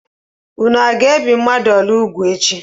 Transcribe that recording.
Ụnụ ọga ebi mmadụ ole úgwù echi?